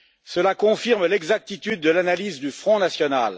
Cela confirme l'exactitude de l'analyse du Front national.